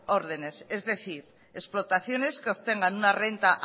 órdenes es decir explotaciones que obtengan una renta